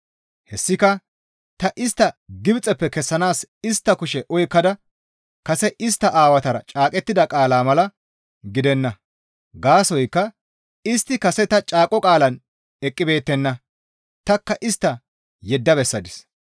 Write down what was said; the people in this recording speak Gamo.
Hessika ta istta Gibxeppe kessanaas istta kushe oykkada kase istta aawatara caaqettida qaalaa mala gidenna; gaasoykka istti kase ta caaqo qaalaan eqqibeettenna; tanikka istta yedda bessadis.